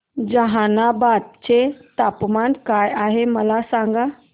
जहानाबाद चे तापमान काय आहे मला सांगा